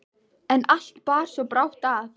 En allt bar svo brátt að.